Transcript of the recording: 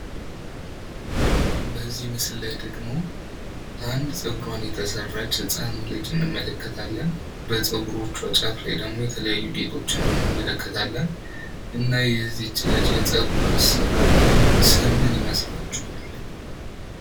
በዚህ ምስል ላይ ደግሞ አንድ ጸጉሯን የተሰራች ህጻን ልጅ እንመለከታለን። በጸጉሮቿ ጫፍ ላይ ደግሞ የተለያዩ ጌጦችን እንመለከታለን። እና የዚች ልጅ የጸጉር አሰራር ስም ምን ይመስላችኋል?